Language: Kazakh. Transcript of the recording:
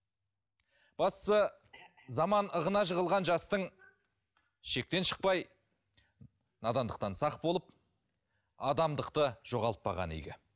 бастысы заман ығына жығылған жастың шектен шықпай надандықтан сақ болып адамдықты жоғалтпағаны игі